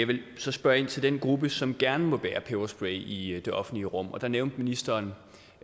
vil så spørge ind til den gruppe som gerne må bære peberspray i det offentlige rum og der nævnte ministeren